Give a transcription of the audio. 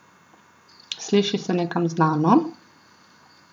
Sliši se nekam znano?